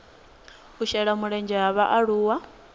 u shela mulenzhe ha vhaaluwa